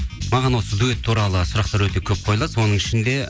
маған осы дуэт туралы сұрақтар өте көп қойылады соның ішінде